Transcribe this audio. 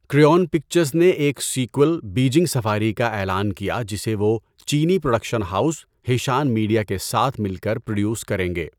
کریون Pictures نے ایک sequel, Beijing Safari کا اعلان کیا جسے وہ چینی پروڈکشن ہاؤس ہیشان میڈیا کے ساتھ مل کر پروڈیوس کریں گے۔